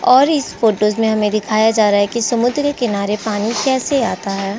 और इस फोटोज में हमें दिखाया जा रहा है कि समुद्र के किनारे पानी कैसे आता है।